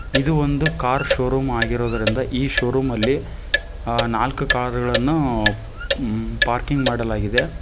ಇದು ಒಂದು car showroom ಆಗಿರುವುದರಿಂದ ಈ ಶೋರೂಂ ಅಲ್ಲಿ ನಾಲ್ಕು ಕಾರುಗಳನ್ನು ಪಾರ್ಕಿಂಗ್ ಮಾಡಲಾಗಿದೆ.